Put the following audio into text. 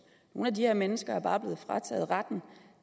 nogle af de her mennesker er bare blevet frataget retten